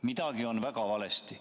Midagi on väga valesti.